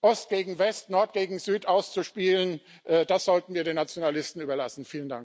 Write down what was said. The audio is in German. Ost gegen West, Nord gegen Süd auszuspielen, das sollten wir den Nationalisten überlassen.